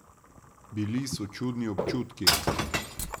Bili so čudni občutki.